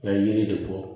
yiri de bɔ